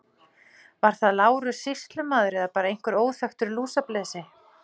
Var það Lárus sýslumaður eða bara einhver óþekktur lúsablesi.